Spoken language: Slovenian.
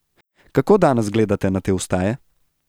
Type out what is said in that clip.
Kako danes gledate na te vstaje?